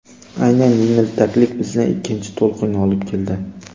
Aynan yengiltaklik bizni ikkinchi to‘lqinga olib keldi.